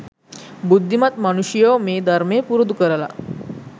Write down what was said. බුද්ධිමත් මනුෂ්‍යයෝ මේ ධර්මය පුරුදු කරල